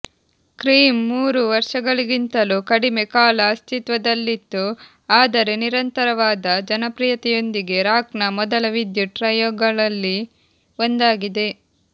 cream ಮೂರು ವರ್ಷಗಳಿಗಿಂತಲೂ ಕಡಿಮೆ ಕಾಲ ಅಸ್ತಿತ್ವದಲ್ಲಿತ್ತು ಆದರೆ ನಿರಂತರವಾದ ಜನಪ್ರಿಯತೆಯೊಂದಿಗೆ ರಾಕ್ನ ಮೊದಲ ವಿದ್ಯುತ್ ಟ್ರಯೋಗಳಲ್ಲಿ ಒಂದಾಗಿದೆ